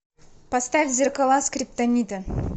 поставь зеркала скриптонита